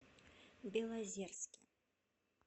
белозерске